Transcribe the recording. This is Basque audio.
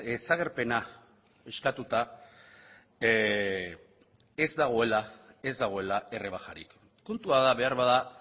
desagerpena eskatuta ez dagoela errebajarik puntua da beharbada